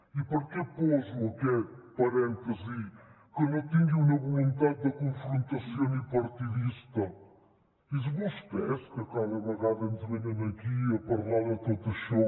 i per què poso aquests parèntesis a que no tingui una voluntat de confrontació ni partidista són vostès que cada vegada ens venen aquí a parlar de tot això